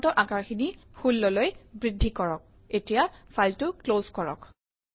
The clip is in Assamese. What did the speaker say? ফণ্টৰ আকাৰ 16 লৈ বৃদ্ধি কৰক